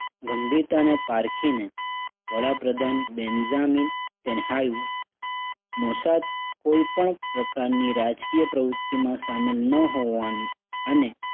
ગંભીરતાને પારખીને વડા પ્રધાન બેન્ઝામિન તેનહાયું મોસાદ કોઈ પણ પ્રકારની રાજકીય પ્રવૃત્તિમાં શામેલ ન હોવાની અને